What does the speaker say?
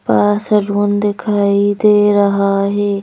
पा सलून दिखाई दे रहा है।